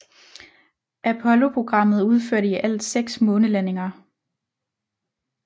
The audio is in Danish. Apolloprogrammet udførte i alt 6 månelandinger